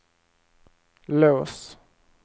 lås